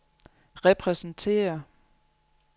repræsenterer